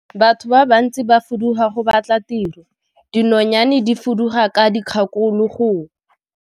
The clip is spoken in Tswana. Batho ba bantsi ba fuduga go batla tiro, dinonyane di fuduga ka dikgakologo.